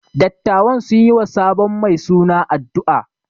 Dattawan sun yi wa sabon mai suna addu’a.